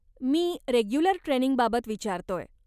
मी regular ट्रेनिंगबाबत विचारतोय.